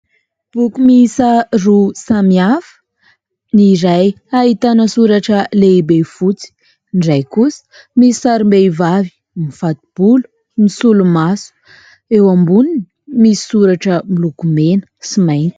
Boky miisa roa samy hafa ; ny iray ahitana soratra lehibe fotsy, ny iray kosa misy sarim-behivavy mifato-bolo, misolomaso ; eo amboniny misy soratra miloko mena sy mainty.